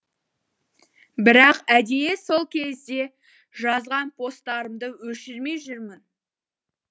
бірақ әдейі сол кезде жазған посттарымды өшірмей жүрмін